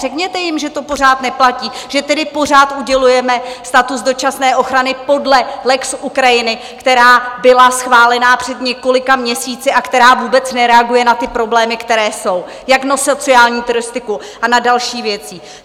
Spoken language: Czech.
Řekněte jim, že to pořád neplatí, že tedy pořád udělujeme status dočasné ochrany podle lex Ukrajiny, která byla schválená před několika měsíci a která vůbec nereaguje na ty problémy, které jsou, jak na sociální turistiku a na další věci.